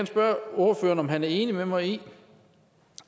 spørge ordføreren om han er enig med mig i